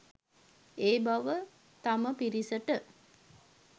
ඒ බව තම පිරිසට